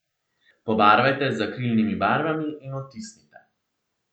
Pobarvajte z akrilnimi barvami in odtisnite.